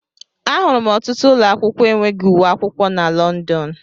Ahụrụ m ọtụtụ ụlọ akwụkwọ enweghị uwe akwụkwọ na London.